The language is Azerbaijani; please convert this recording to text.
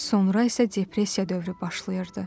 Sonra isə depressiya dövrü başlayırdı.